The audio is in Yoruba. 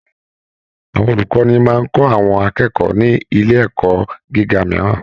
Àwọn olukọni máa n kọ àwọn akẹ́kọ̀ọ́ ní ilé ẹ̀kọ́ gíga mìíràn.